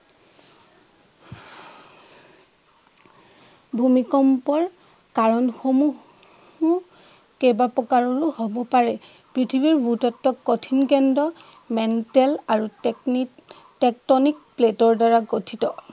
ভূমিকম্পৰ কাৰণ সমূহ উম কেইবাপ্ৰকাৰৰো হব পাৰে। পৃথিৱীৰ ভূ-তত্ত্ব কঠিন কেন্দ্ৰ মেণ্টল আৰু টেকনিক টেকটনিক প্লেটৰ দ্বাৰা গঠিত।